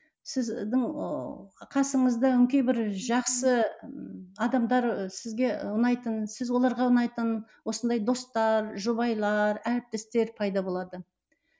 сіздің ыыы қасыңызда өңкей бір жақсы ы адамдар сізге ұнайтын сіз оларға ұнайтын осындай достар жұбайлар әріптестер пайда болады